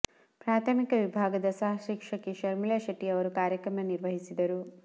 ಪ್ರಾಥಮಿಕ ವಿಭಾಗದ ಸಹ ಶಿಕ್ಷಕಿ ಶರ್ಮಿಳಾ ಶೆಟ್ಟಿ ಅವರು ಕಾರ್ಯಕ್ರಮ ನಿರ್ವಹಿಸಿದರು